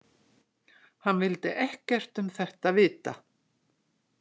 Hann vildi ekkert um þetta vita.